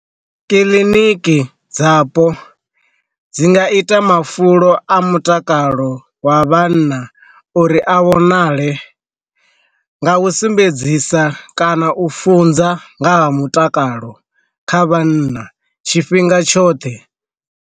Kiḽiniki dzapo dzi nga ita mafulo a mutakalo wa vhanna uri a vhonale, nga u sumbedzisa kana u funza nga ha mutakalo kha vhanna tshifhinga tshoṱhe.